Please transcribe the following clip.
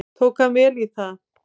Tók hann vel í það.